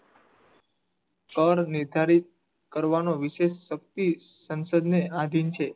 કર નિર્ધારિત કરવાનો વિશેષ શક્તિ સંસદ ને આધીન છે